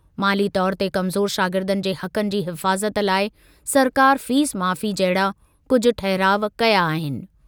माली तौर ते कमज़ोर शागिर्दनि जे हक़नि जी हिफ़ाज़त लाइ सरकार फीस माफ़ी जहिड़ा कुझु ठहराउ कया आहिनि।